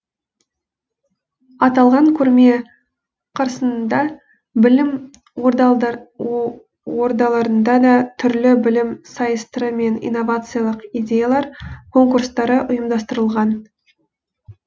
аталған көрме қарсаңында білім ордаларында да түрлі білім сайыстары мен инновациялық идеялар конкурстары ұйымдастырылған